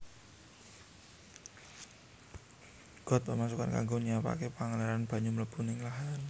Got Pemasukan kanggo nyiapaké pengaliran banyu mlebu ning lahan